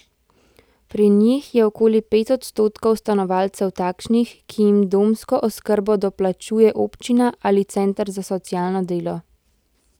Pri njih je okoli pet odstotkov stanovalcev takšnih, ki jim domsko oskrbo doplačuje občina ali center za socialno delo.